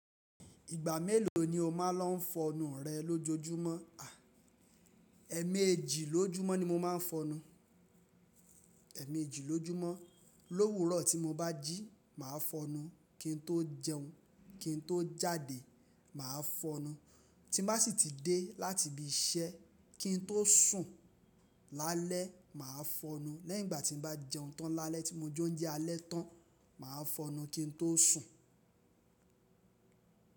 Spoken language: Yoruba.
Ìgbà mélòó ni o máa ń lọ fọnu rẹ lójojúmọ́? Ẹ̀ẹ̀mejì lójúmọ́ ni mo máa ń fọnu. Ẹ̀ẹ̀mejì lójúmọ́. Lówúró ti mo bá jí, màá fọnu. Kín tó jẹun, kín tó jáde, màá fọnu. Ti n bá sì ti dé láti ibi iṣẹ́, kín tó sùn lálẹ́, màá fọnu. Lẹ́yìn ìgbà tí n bá jẹun tán lálẹ́ tí mo jẹ oúnjẹ alẹ́ tán, màá fọnu kín tó sùn.